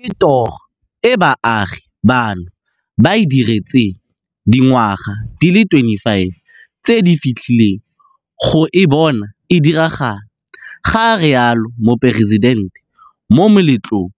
Ke toro e baagi bano ba e diretseng dingwaga di le 25 tse di fetileng go e bona e diragala, ga rialo Moporesitente mo moletlong